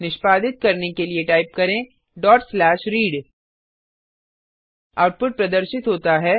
निष्पादित करने के लिए टाइप करें read आउटपुट प्रदर्शित होता है